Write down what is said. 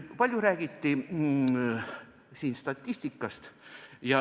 Palju räägiti siin statistikast.